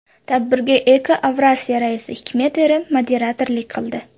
Tadbirga EcoAvrasya raisi Hikmet Eren moderatorlik qildi.